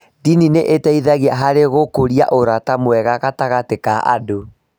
Ndini nĩ iteithagia harĩ gũkũria ũrata mwega gatagatĩ ka andũ.